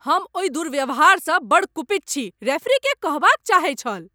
हम ओहि दुर्व्यवहारसँ बड्ड कुपित छी! रेफरीकेँ कहबाक चाहै छल।